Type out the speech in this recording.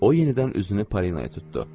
O yenidən üzünü Polinaya tutdu.